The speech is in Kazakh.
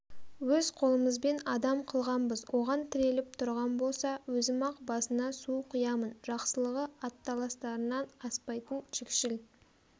өз қолымызбен адам қылғанбыз оған тіреліп тұрған болса өзім-ақ басына су құямын жақсылығы аталастарынан аспайтын жікшіл